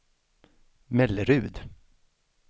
Mellerud